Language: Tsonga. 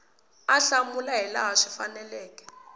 a hlamula hilaha swi faneleke